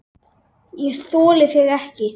ÉG ÞOLI ÞIG EKKI!